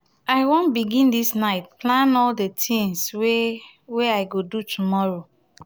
i wan begin this night plan all the tins wey wey i go do tomorrow